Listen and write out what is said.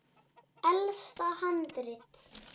Elsta handrit